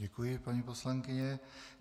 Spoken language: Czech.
Děkuji, paní poslankyně.